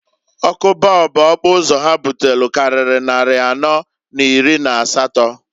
Ọkụ bọọbụ okpuzo ha butelu kariri nnari anọọ n'iri n'asatọ.